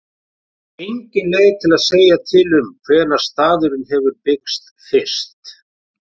Engin leið er að segja til um hvenær staðurinn hefur byggst fyrst.